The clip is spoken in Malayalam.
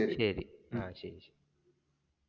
ശരി അഹ് ശരി.